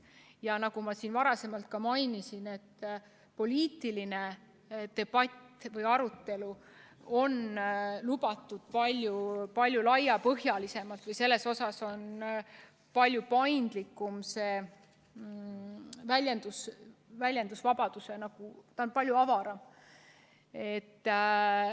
Ja nagu ma varasemalt mainisin, poliitiline debatt või arutelu on lubatud palju laiapõhjalisemalt, selle puhul on väljendusvabadus palju paindlikum, palju avaram.